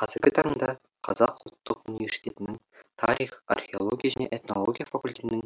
қазіргі таңда қазақ ұлттық университетінің тарих археология және этнология факультетінің